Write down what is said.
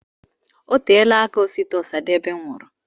Oteela aka Osita Osadebe nwụrụ.